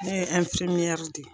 Ne ye de ye.